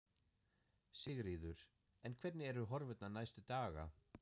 Sigríður: En hvernig eru horfurnar næstu daga?